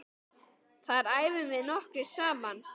Þar æfum við nokkrir saman.